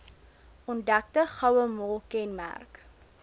ontdekte gouemol kenmerk